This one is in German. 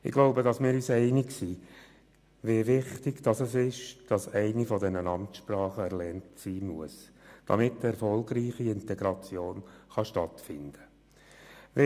Wir sind uns sicher einig, wie wichtig das Erlernen einer der Amtssprachen ist, damit eine erfolgreiche Integration stattfinden kann.